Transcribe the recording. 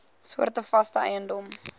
soorte vaste eiendom